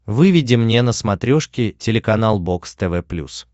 выведи мне на смотрешке телеканал бокс тв плюс